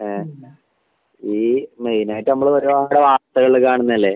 ആ ഈ മെയിനായിട്ട് നമ്മളൊരുപാട് വാർത്തകള് കാണുന്നതല്ലേ